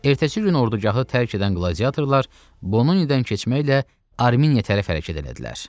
Ertəsi gün ordugahı tərk edən qladiatorlar Bononidən keçməklə Ermeniya tərəf hərəkət elədilər.